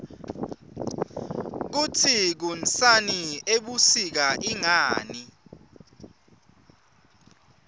kutsi kunsani ebusika ingani